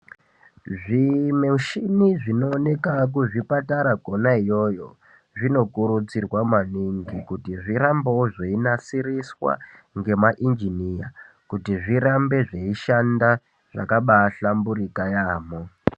Zvimuchini zvinooneka kuzvipatara Kona iyoyo zvino kurudzirwa maningi kuti zvirambewo zveinasiriswa ngema injiniya kuti zvirambe zveishanda zvaka bahlamburika yamho.